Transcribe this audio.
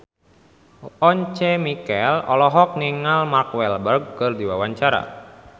Once Mekel olohok ningali Mark Walberg keur diwawancara